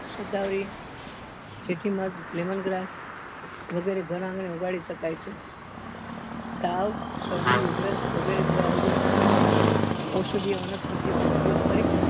શત્તાવરી જેથીમલ વગેરે ઘર આંગણે ઉગાડી શકાય છે તાવ શરદી ઉધરસ વગરે જેવા રોગો સામે ઔષધીય વનસ્પતિઓ નો ઉપયોગ કરી